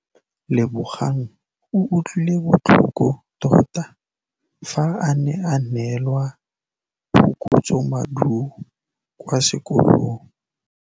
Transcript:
Lebogang o utlwile botlhoko tota fa a neelwa phokotsômaduô kwa sekolong.